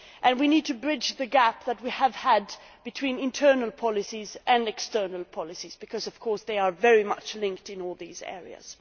We need to bridge the gap that we have had between internal and external policies, because, of course, they are very much linked in all these areas.